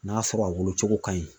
N'a sɔrɔ a wolo cogo ka ɲi.